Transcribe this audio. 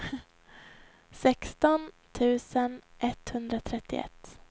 sexton tusen etthundratrettioett